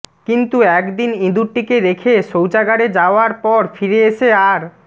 কিন্তু একদিন ইঁদুরটিকে রেখে শৌচাগারে যাওয়ার পর ফিরে এসে আর